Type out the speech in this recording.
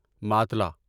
ماتلا